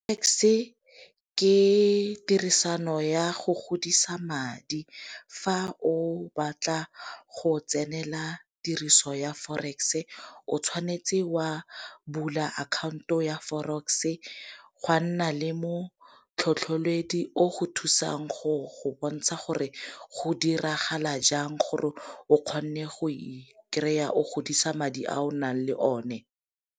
Tax-e ke tirisano ya go godisa madi. Fa o batla go tsenela tiriso ya forex-e o tshwanetse wa bula akhaonto ya forex-e, gwa nna le motlhotlheledi o go thusang go go bontsha gore go diragala jang gore o kgone go ikry-a o godisa madi a o nang le o ne.